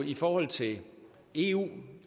i forhold til eu i